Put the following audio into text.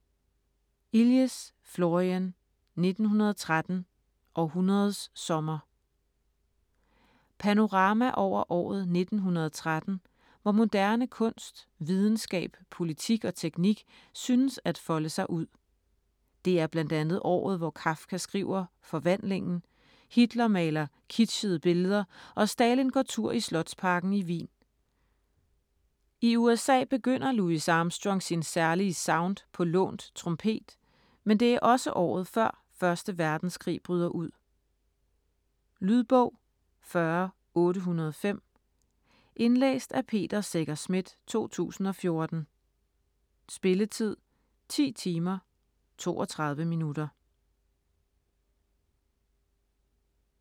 Illies, Florian: 1913: århundredets sommer Panorama over året 1913 hvor moderne kunst, videnskab, politik og teknik synes at folde sig ud. Det er bl.a. året hvor Kafka skriver "Forvandlingen", Hitler maler kitschede billeder og Stalin går tur i slotsparken i Wien. I USA begynder Louis Armstrong sin særlige sound på lånt trompet, men det er også året før 1. verdenskrig bryder ud. Lydbog 40805 Indlæst af Peter Secher Schmidt, 2014. Spilletid: 10 timer, 32 minutter.